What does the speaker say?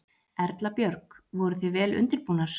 Erla Björg: Voruð þið vel undirbúnar?